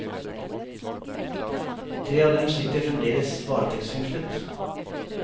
Tre av dem sitter fremdeles varetektsfengslet.